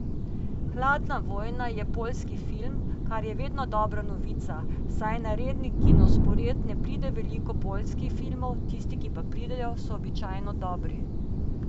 Hladna vojna je poljski film, kar je vedno dobra novica, saj na redni kinospored ne pride veliko poljskih filmov, tisti, ki pa pridejo, so običajno dobri.